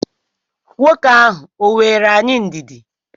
Nwoke ahụ o nweere anyị ndidi?